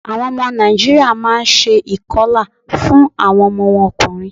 Àwọn ọmọ Nàìjíríà má a n se ìkọlà fún àwọn ọmọ wọn ọkùnrin